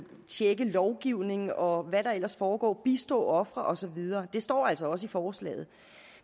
tjekke lovgivning og hvad der ellers foregår bistå ofre og så videre det står altså også i forslaget